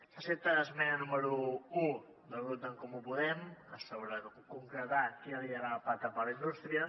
s’accepta l’esmena número un del grup d’en comú podem sobre concretar qui ha de liderar el pacte per la indústria